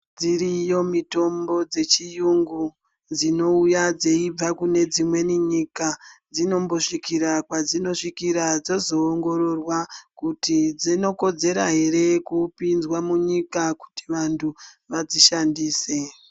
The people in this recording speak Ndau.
Dziriyo mitombo dzechiyungu ,dzinouya dzeibva kune dzimweni nyika. Dzinombosvikira kwadzinosvikira dzozoongororwa kuti dzinokodzera ere kupinzwa munyika kuti vantu vadzishandise.